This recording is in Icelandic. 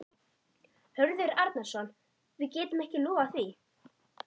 Hörður Arnarson: Við getum ekki lofað því?